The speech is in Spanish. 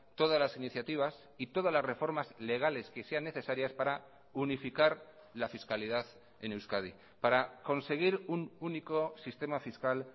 todas las iniciativas y todas las reformas legales que sean necesarias para unificar la fiscalidad en euskadi para conseguir un único sistema fiscal